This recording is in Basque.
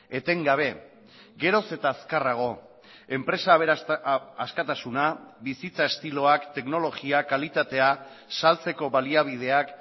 etengabe geroz eta azkarrago enpresa askatasuna bizitza estiloak teknologiak kalitatea saltzeko baliabideak